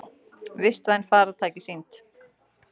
Vistvæn farartæki sýnd